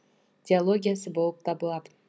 диологиясы болып табылады